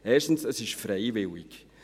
– Erstens: Es ist freiwillig.